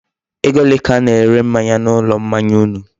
Ego ole ka a na-ere mmanya na ulo mmanya unu?